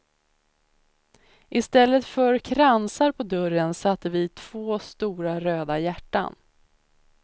I stället för kransar på dörren satte vi två stora röda hjärtan.